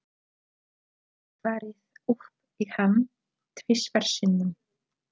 Ég hef farið upp í hann tvisvar sinnum.